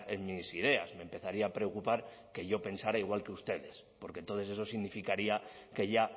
en mis ideas me empezaría a preocupar que yo pensara igual que ustedes porque entonces eso significaría que ya